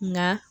Nka